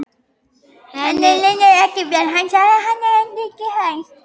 Henni líður ekki vel, sagði hann: Hún er ekki hraust.